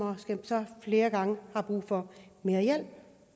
så flere gange har brug for mere hjælp